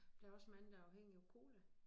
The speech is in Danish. Der også mange der afhængige af cola